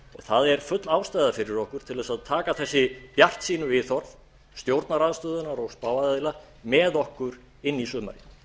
það er full ástæða fyrir okkur til þess að taka þessi bjartsýnu viðhorf stjórnarandstöðunnar og spáaðila með okkur inn í sumarið